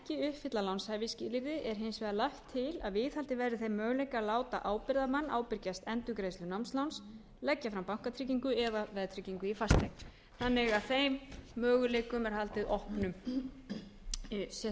uppfylla lánshæfisskilyrði er hins vegar lagt til að viðhaldið verði þeim möguleika að láta ábyrgðarmann ábyrgjast endurgreiðslur námsláns leggja fram bankatryggingu eða veðtryggingu í fasteign þannig að þeim möguleikum er haldið opnum sé